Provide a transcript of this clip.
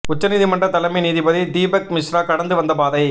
உச்ச நீதிமன்ற தலைமை நீதிபதி தீபக் மிஸ்ரா கடந்து வந்த பாதை